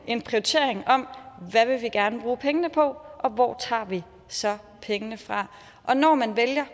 en prioritering af hvad vi gerne vil bruge pengene på og hvor vi så tager pengene fra og når man